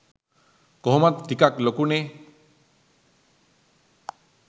කොහොමත් ටිකක් ලොකුනෙ'